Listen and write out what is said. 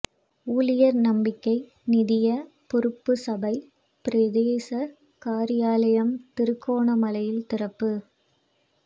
ஊழியர் நம்பிக்கை நிதிய பொறுப்பு சபை பிரதேச காரியாலயம் திருகோணமலையில் திறப்பு